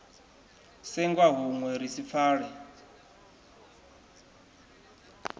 senga hunwe ri si pfale